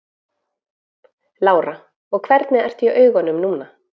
Lára: Og hvernig ertu í augunum núna?